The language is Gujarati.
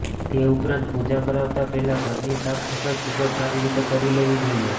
તે ઉપરાંત પૂજા કરાવતા પહેલા ઘર ની સાફ સફાઈ ખુબજ સારી રીતે કરી લેવી જોઈએ